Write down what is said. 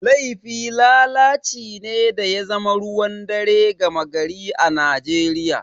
Laifi lalaci ne da ya zama ruwan dare gama gari a Najeriya.